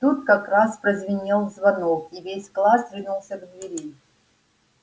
тут как раз прозвенел звонок и весь класс ринулся к двери